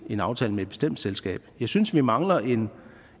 en aftale med et bestemt selskab jeg synes vi mangler